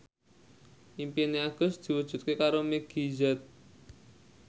impine Agus diwujudke karo Meggie Z